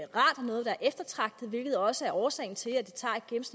noget der er eftertragtet det er også årsagen til at det